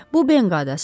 Bu benq adasıdır.